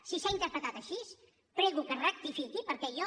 si s’ha interpretat així prego que es rectifiqui perquè jo